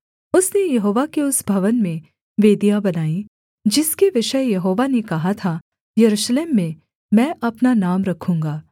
उसने यहोवा के उस भवन में वेदियाँ बनाईं जिसके विषय यहोवा ने कहा था यरूशलेम में मैं अपना नाम रखूँगा